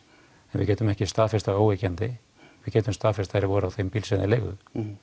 en við getum ekki staðfest það óyggjandi við getum staðfest að þeir voru á þeim bíl sem þeir leigðu